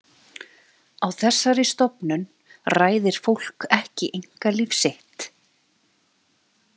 Á þessari stofnun ræðir fólk ekki einkalíf sitt.